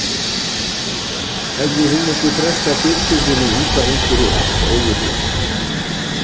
Hafði hún ekki frestað fjölskyldunni út af einhverju allt öðru?